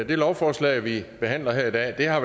det lovforslag vi behandler her i dag har